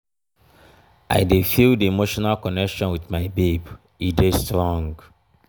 i dey feel di emotional connection wit my babe e dey strong